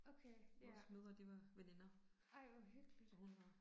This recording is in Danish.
Okay, ja. Ej hvor hyggeligt